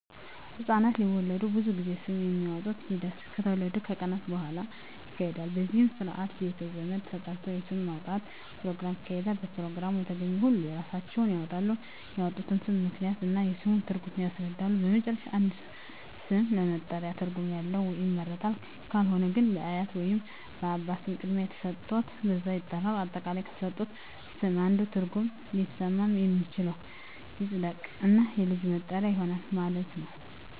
ህፃናት ሲወለዱ ብዙ ጊዜ ስም የማውጣት ሒደት ከተወለዱ ከቀናት በሁዋላ ይካሄዳል በዚህም ስርአት ቤተ ዘመድ ተጠርቶ የስም ማውጣት ኘሮግራም ይካሄዳል በፕሮግራሙ የተገኙ ሁሉም የራሳቸውን ስም ያወጣሉ ያወጡትንም ስም ምክንያት እና የስሙን ትርጉም ያስረዳሉ በመጨረሻም አንድ ስም ለመጠሪያ ትርጉም ያለው ይመረጣል ካልሆነ ግን በአያት ወይንም በአባት ስም ቅድሚያ ተሠጥቶት በዛ ይጠራል። አጠቃላይ ከተሠጡት ስም አንዱ ትርጉም ሊስማማ የሚችለው ይፀድቅ እና የልጁ መጠሪያ ይሆናል ማለት ነው።